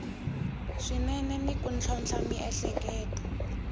swinene ni ku tlhontlha miehleketo